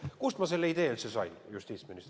Kust ma selle idee justiitsministrina üldse sain?